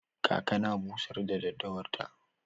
Kaka na busar da daddawar ta.